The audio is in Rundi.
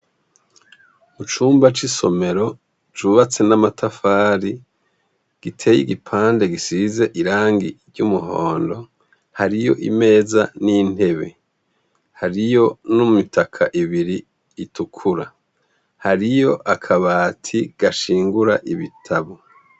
Mucumba c'isomero c'ubatse n' amatafari gitey' igipande bisiz' irangi ry umuhondo hariy 'imeza n'intebe, hariyo n'imitaka ibiri itukura, hariy' akabati gashingur' ibitabo.